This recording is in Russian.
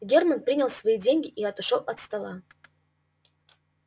германн принял свои деньги и отошёл от стола